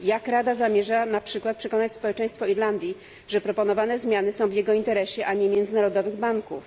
Jak Rada zamierza na przykład przekonać społeczeństwo Irlandii, że proponowane zmiany są w jego interesie, a nie międzynarodowych banków?